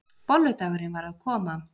Bolludagurinn var að koma!